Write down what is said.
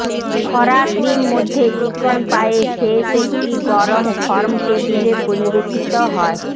খরা ক্রিম মধ্যে চিকন পায়ে শেষ একটি গরম ফর্ম টেবিলে পরিবেশিত হয়